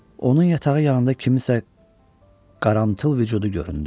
Onun yatağı yanında kimsənin qaranlıq vücudu göründü.